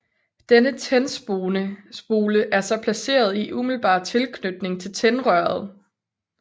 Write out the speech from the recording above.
Denne tændspole er så placeret i umiddelbar tilknytning til tændrøret